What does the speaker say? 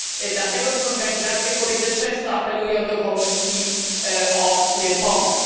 Dlatego też organizacje kobiece często apelują do Komisji o pomoc.